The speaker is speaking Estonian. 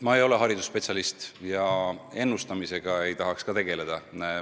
Ma ei ole haridusspetsialist ja ennustamisega ei tahaks ka tegeleda.